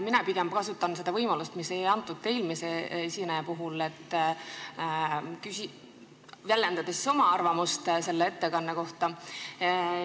Mina pigem kasutan seda võimalust, mida ei antud eelmise esineja puhul: ma väljendan oma arvamust selle ettekande kohta.